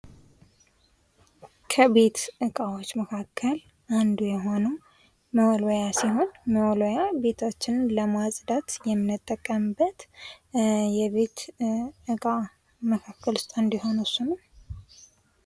ከቤት እቃዎች መካከል አንዱ የሆነው መወልወያ ሲሆን መወልወያ ቤታችንን ለማፅዳት የምንጠቀምበት የቤት እቃ መካከል ውስጥ አንዱ የሆነው እሱ ነው።